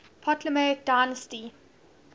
ptolemaic dynasty